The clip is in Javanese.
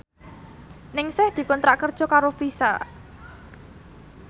Ningsih dikontrak kerja karo Visa